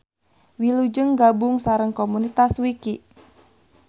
Wilujeng gabung sareng komunitas Wiki.